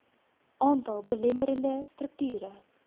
aantal belemmerende strukture